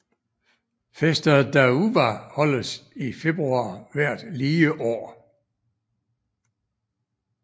Festa da Uva holdes i februar hvert lige år